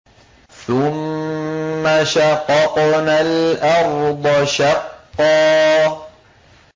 ثُمَّ شَقَقْنَا الْأَرْضَ شَقًّا